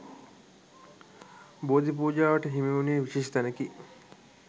බෝධි පූජාවට හිමිවනුයේ විශේෂ තැනකි.